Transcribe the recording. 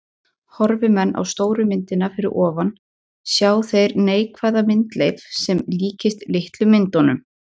Horfi menn á stóru myndina fyrir ofan sjá þeir neikvæða myndleif sem líkist litlu myndunum.